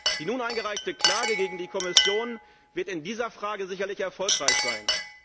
Die nun eingereichte Klage gegen die Kommission wird in dieser Frage sicherlich erfolgreich sein.